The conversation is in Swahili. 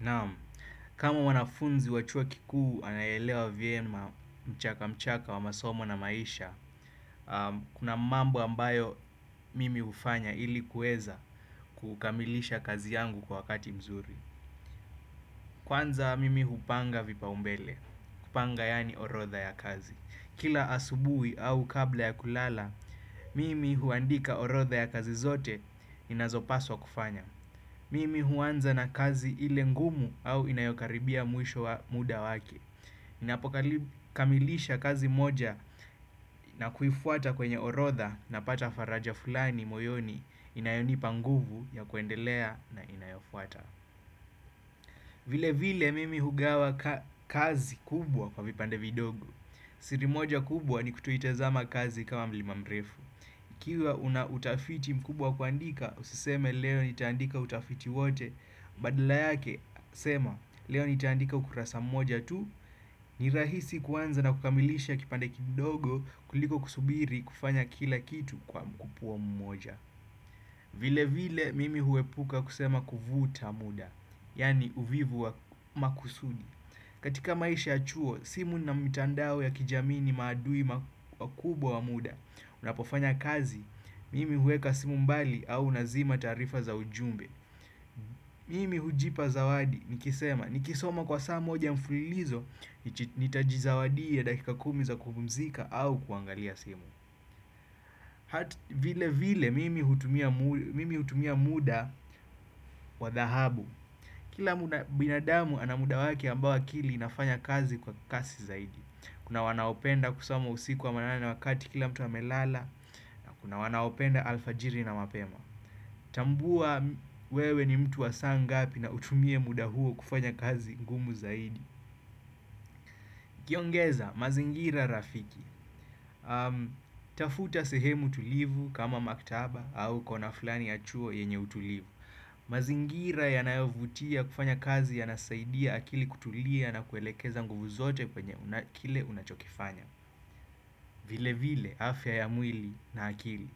Naam kama wanafunzi wa chuo kikuu anayeelewa vyema mchaka mchaka wa masomo na maisha kuna mambo ambayo mimi hufanya ili kuweza kukamilisha kazi yangu kwa wakati mzuri. Kwanza mimi hupanga vipaumbele, kupanga yani orodha ya kazi. Kila asubuhi au kabla ya kulala, mimi huandika orodha ya kazi zote inazopaswa kufanya. Mimi huanza na kazi ile ngumu au inayokaribia mwisho wa muda wake. Ninapokamilisha kazi moja na kuifuata kwenye orodha napata faraja fulani moyoni inayonipa nguvu ya kuendelea na inayofuata. Vile vile mimi hugawa kazi kubwa kwa vipande vidogo. Siri moja kubwa ni kutoitazama kazi kama mlima mrefu. Ikiwa una utafiti mkubwa wa kuandika, usiseme leo nitaandika utafiti wote. Badala yake, sema leo nitaandika ukurasa mmoja tu. Ni rahisi kuanza na kukamilisha kipande kidogo kuliko kusubiri kufanya kila kitu kwa mkupuo mmoja. Vile vile mimi huepuka kusema kuvuta muda, yani uvivu wa makusudi katika maisha ya chuo, simu na mtandao ya kijamii ni maadui wakubwa wa muda. Unapofanya kazi, mimi huweka simu mbali au nazima taarifa za ujumbe. Mimi hujipa zawadi, nikisoma kwa saa moja mfulilizo, nitajizawadia dakika kumi za kupumzika au kuangalia simu. Vile vile, mimi hutumia muda wa dhahabu. Kila binadamu ana muda wake ambao akili inafanya kazi kwa kasi zaidi. Kuna wanaopenda kusoma usiku wa manane na wakati kila mtu amelala. Na kuna wanaopenda alfajiri na mapema. Tambua wewe ni mtu wa saangapi na utumie muda huo kufanya kazi ngumu zaidi ukiongeza mazingira rafiki tafuta sehemu tulivu kama maktaba au kona fulani ya chuo yenye utulivu. Mazingira yanayovutia kufanya kazi yanasaidia akili kutulia na kuelekeza nguvu zote kwenye kile unachokifanya. Vile vile afya ya mwili na akili